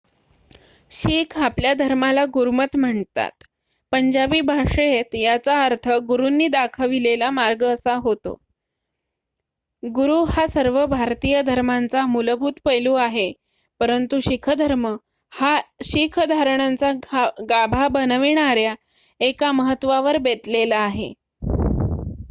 "शीख आपल्या धर्माला गुरमत म्हणतात पंजाबी भाषेत याचा अर्थ "गुरूंनी दाखविलेला मार्ग" असा होतो. गुरू हा सर्व भारतीय धर्मांचा मूलभूत पैलू आहे परंतु शीख धर्म हा शीख धारणांचा गाभा बनविणाऱ्या एका महत्वावर बेतलेला आहे.